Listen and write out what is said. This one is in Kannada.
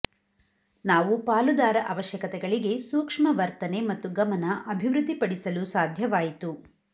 ನಾವು ಪಾಲುದಾರ ಅವಶ್ಯಕತೆಗಳಿಗೆ ಸೂಕ್ಷ್ಮ ವರ್ತನೆ ಮತ್ತು ಗಮನ ಅಭಿವೃದ್ಧಿಪಡಿಸಲು ಸಾಧ್ಯವಾಯಿತು